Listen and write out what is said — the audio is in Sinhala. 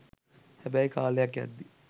හැබැයි කාලයක් යද්දී